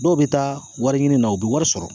Dɔw bɛ taa wari ɲini na u bɛ wari sɔrɔ